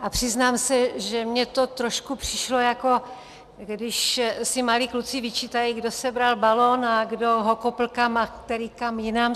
A přiznám se, že mně to trošku přišlo, jako když si malí kluci vyčítají, kdo sebral balon a kdo ho kopl kam a který kam jinam.